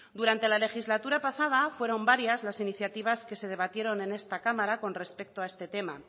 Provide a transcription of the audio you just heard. durante la legislatura pasada fueron varias las iniciativas que se debatieron en esta cámara con respecto a este tema